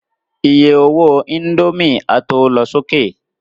Iye owó indomie a tó lọ sókè